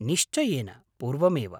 निश्चयेन पूर्वमेव।